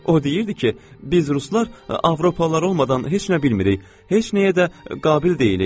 O deyirdi ki, biz ruslar avropalılar olmadan heç nə bilmirik, heç nəyə də qabil deyilik.